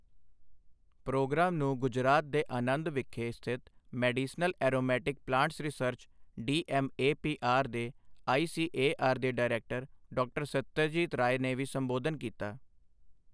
Programme ਨੂੰ ਗੁਜਰਾਤ ਦੇ ਅਨੰਦ ਵਿਖੇ ਸਥਿਤ medicinal aromatic plants research DMAPR ਦੇ ਆਈਸੀਏਆਰ ਦੇ ਡਾਇਰੈਕਟਰ ਡਾ. ਸੱਤਯਜੀਤ ਰਾਏ ਨੇ ਵੀ ਸੰਬੋਧਨ ਕੀਤਾ।